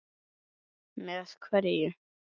Brynja Þorgeirsdóttir, spyrjandi: Með hverju?